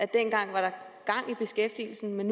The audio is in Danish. dengang var gang i beskæftigelsen men